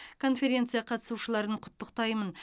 конференция қатысушыларын құттықтаймын